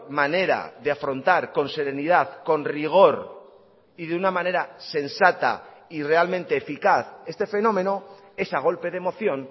manera de afrontar con serenidad con rigor y de una manera sensata y realmente eficaz este fenómeno es a golpe de moción